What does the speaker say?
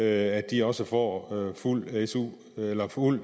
at de også får fuld su eller fuld